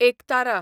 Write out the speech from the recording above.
एकतारा